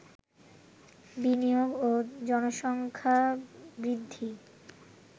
বিনিয়োগ, জনসংখ্যা বৃদ্ধি